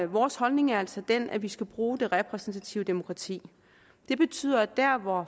vores holdning er altså den at vi skal bruge det repræsentative demokrati det betyder at dér hvor